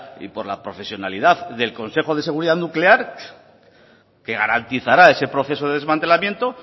y por la profesionalidad del consejo de seguridad nuclear que garantizará ese proceso de desmantelamiento